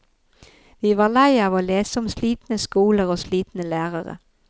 Vi var lei av å lese om slitne skoler og slitne lærere.